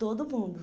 Todo mundo.